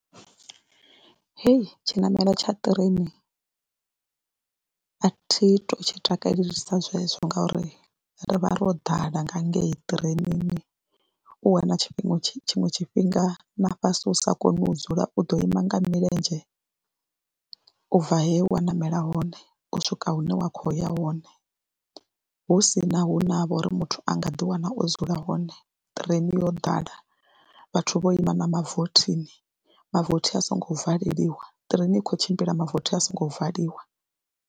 Hei tshiṋamelo tsha ṱireini a thi tou tshi takalelesa zwezwo ngauri ri vha ro ḓala nga ngei ṱireinini u wana tshifhinga tshiṅwe tshifhinga na fhasi u sa koni u dzula, u ḓo ima nga milenzhe u bva he wa ṋamela hone u swika hune wa khou ya hone hu si na hune ha vha uri muthu a nga ḓiwana o dzula hone ṱireini yo ḓala, vhathu vho ima na mavothini mavothi a songo valeliwa, ṱireni i khou tshimbila mavothi a songo valiwa.